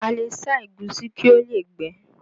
A le sá ẹ̀gúsí kí ó lè gbẹ